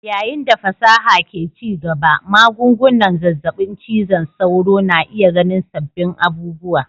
Yayin da fasaha ke ci gaba, magungunan zazzabin cizon sauro na iya ganin sabbin abubuwa.